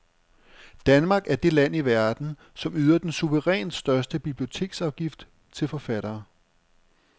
Danmark er det land i verden, som yder den suverænt største biblioteksafgift til forfattere.